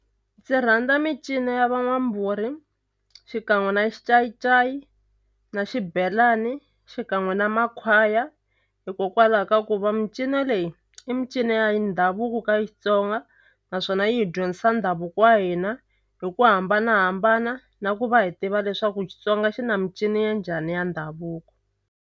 Ndzi rhandza mincino ya van'wambhuri xikan'we na xincayincayi na xibelani xikan'we na makhwaya hikokwalaho ka ku va micino leyi i mincino ya ndhavuko ka Xitsonga naswona yi hi dyondzisa ndhavuko wa hina hi ku hambanahambana na ku va hi tiva leswaku Xutsonga xi na mincino ya njhani ya ndhavuko.